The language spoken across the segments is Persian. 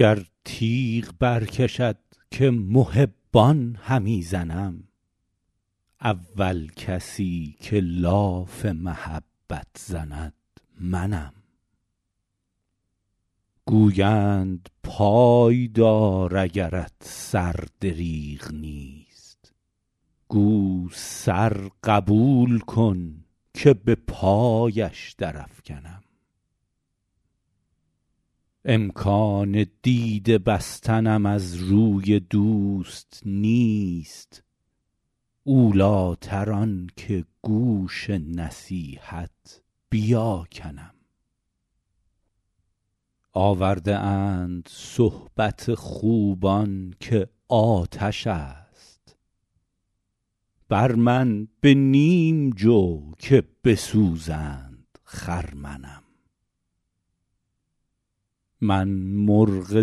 گر تیغ برکشد که محبان همی زنم اول کسی که لاف محبت زند منم گویند پای دار اگرت سر دریغ نیست گو سر قبول کن که به پایش درافکنم امکان دیده بستنم از روی دوست نیست اولیتر آن که گوش نصیحت بیاکنم آورده اند صحبت خوبان که آتش است بر من به نیم جو که بسوزند خرمنم من مرغ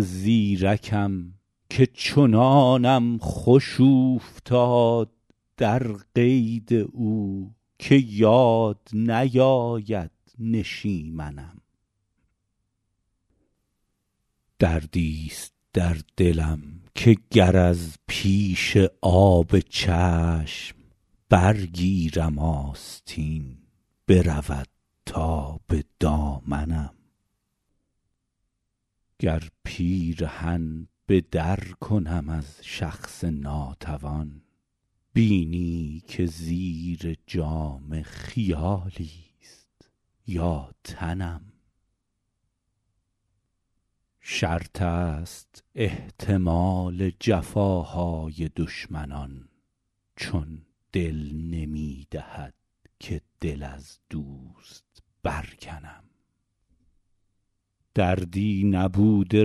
زیرکم که چنانم خوش اوفتاد در قید او که یاد نیاید نشیمنم دردیست در دلم که گر از پیش آب چشم برگیرم آستین برود تا به دامنم گر پیرهن به در کنم از شخص ناتوان بینی که زیر جامه خیالیست یا تنم شرط است احتمال جفاهای دشمنان چون دل نمی دهد که دل از دوست برکنم دردی نبوده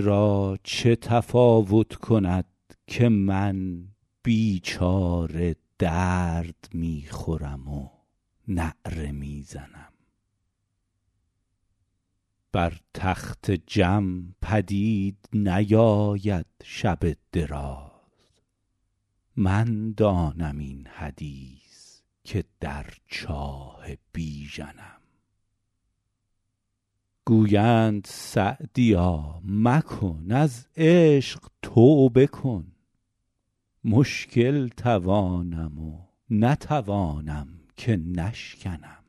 را چه تفاوت کند که من بیچاره درد می خورم و نعره می زنم بر تخت جم پدید نیاید شب دراز من دانم این حدیث که در چاه بیژنم گویند سعدیا مکن از عشق توبه کن مشکل توانم و نتوانم که نشکنم